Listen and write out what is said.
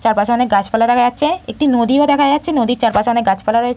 চারপাশে অনেক গাছপালা দেখা যাচ্ছে একটি নদীও দেখা যাচ্ছে নদীর চারপাশে অনেক গাছপালা রয়ে --